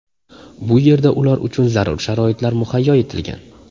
Bu yerda ular uchun zarur sharoitlar muhayyo etilgan.